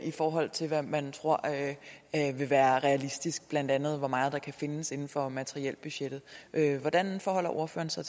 i forhold til hvad man tror vil være realistisk blandt andet hvor meget der kan findes inden for materielbudgettet hvordan forholder ordføreren sig